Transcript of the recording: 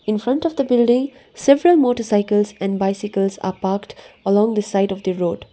in front of the building several motorcycles and bicycles are parked along the side of the road.